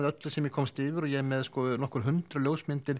öllu sem ég komst yfir ég er með nokkur hundruð ljósmyndir